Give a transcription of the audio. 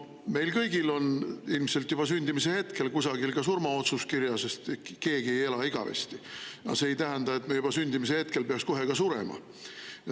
Meil kõigil on ilmselt juba sündimise hetkel kusagil surmaotsus kirjas, sest keegi ei ela igavesti, aga see ei tähenda, et me juba sündimise hetkel peaks kohe ka surema.